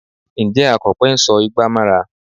Ǹjẹ́ Akọ̀pẹ ń sọ igbà mọ́ra?